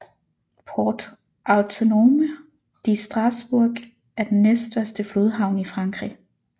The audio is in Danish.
Port Autonome de Strasbourg er den næststørste flodhavn i Frankrig